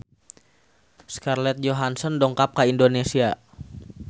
Scarlett Johansson dongkap ka Indonesia